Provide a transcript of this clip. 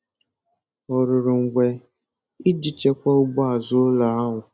Ọ rụrụ ngwe iji chekwaa ugbo azụ ụlọ ahụ.